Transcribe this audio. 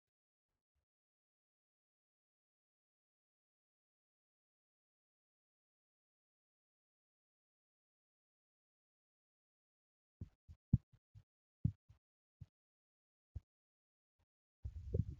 Mana hojii fi nama mana hojii kana keessatti hojii hojjachaa jiru argaa kan jirrudha. Innis meeshaa maashinii maallaqa lakkaa'uuf nu gargaaru of cinaadhaa kan qabudha. Maallaqani baayyeenis teessoorra taa'ee kan jirudha.